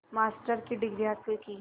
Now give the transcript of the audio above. master की degree हासिल की